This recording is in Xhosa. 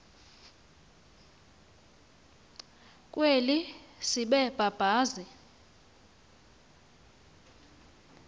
kweli sebe babazi